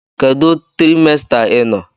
Kedu trimester ị nọ?